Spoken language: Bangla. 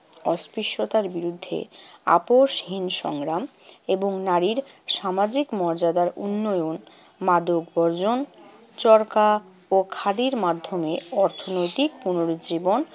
অস্পৃশ্যতার বিরুদ্ধে আপসহীন সংগ্রাম এবং নারীর সামাজিক মর্যাদার উন্নয়ন, মাদক বর্জন, চরকা ও খাদির মাধ্যমে অর্থনৈতিক পুনরুজ্জীবন